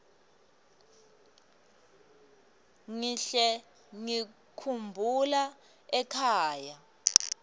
ngihle ngikhumbula ekhaya